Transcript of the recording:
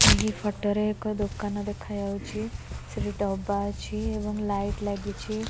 ଏହି ଫଟ ରେ ଏକ ଦୋକାନ ଦେଖାଯାଉଛି ସେଠି ଡବା ଅଛି ଏବଂ ଲାଇଟ ଲାଗିଛି।